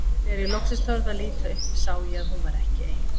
Þegar ég loksins þorði að líta upp sá ég að hún var ekki ein.